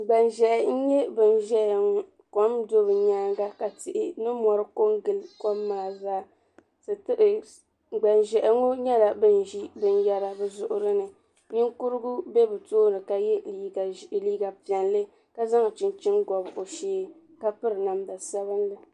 Gbanʒehi n nyɛ ban zaya ŋɔ kom n do bɛ nyaanga ka tihi ni mori kongili kom maa zaa Gbanʒehi ŋɔ nyɛla ban ʒi binyɛra bɛ zuɣuri ni ninkurigu be bɛ tooni ka ye liiga piɛlli ka zaŋ chinchini gobi o shee ka piri namda sabinli.